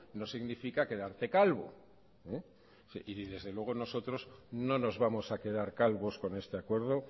no significa quedarte calvo y desde luego nosotros no nos vamos a quedar calvos con este acuerdo